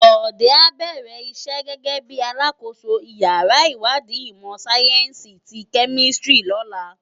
Bode á bèrè isè gègè bi àlákósó iyàrá iwádí imò sáyènsí ti kèmìsítrí lòlá